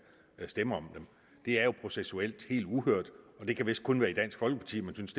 stemme om dem det er jo processuelt helt uhørt og det kan vist kun være i dansk folkeparti man synes